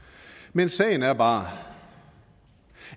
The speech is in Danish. men sagen er bare